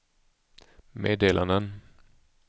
meddelanden